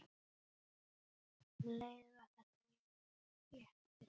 Um leið var það léttir.